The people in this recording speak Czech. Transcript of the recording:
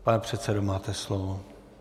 Pane předsedo, máte slovo.